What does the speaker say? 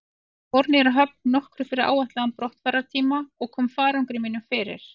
Ég fór niður að höfn nokkru fyrir áætlaðan brottfarartíma og kom farangri mínum fyrir.